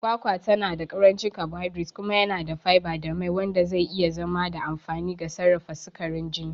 Kwakwa tana da ƙarancin carbohydrates kuma yana da fiber da mai, wanda zai iya zama da amfani ga sarrafa sukarin jini.